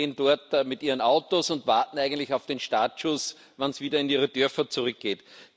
Die stehen dort mit ihren Autos und warten eigentlich auf den Startschuss, wann es wieder in ihre Dörfer zurückgeht.